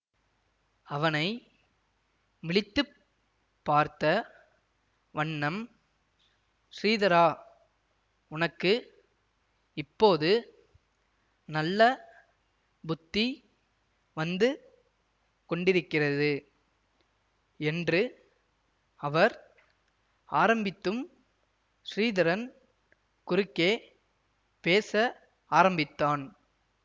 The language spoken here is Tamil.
அவனை விழித்து பார்த்த வண்ணம் ஸ்ரீதரா உனக்கு இப்போது நல்ல புத்தி வந்து கொண்டிருக்கிறது என்று அவர் ஆரம்பித்தும் ஸ்ரீதரன் குறுக்கே பேச ஆரம்பித்தான்